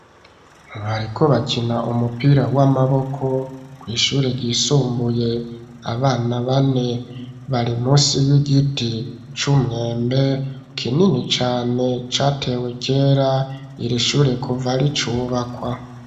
Bariko bakina umupira w'amaboko kw'ishure ryisumbuye, abana bane bari munsi y'igiti c'umwembe kinini cane, catewe kera iri shure kuva ricubakwa.